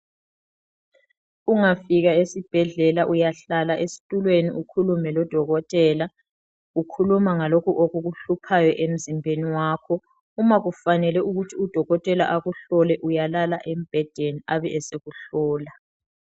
Ungafika esibhedlela uyahlala esitulweni ukhulume lodokotela, ukhuluma ngalokho okukuhluphayo emzimbeni wakho. Uma kufanele ukuthi udokotela akuhlole uyalala embhedeni abe esekuhlola.